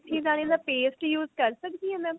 ਮੇਥੀ ਦਾਣੇ ਦਾ paste use ਕਰ ਸਕਦੀ ਹਾਂ mam